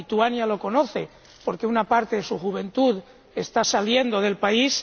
Lituania lo sabe, porque una parte de su juventud está saliendo del país.